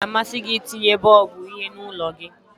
Ọ ga-amasị gị itinye bọlbụ uhie n'ụlọ gị?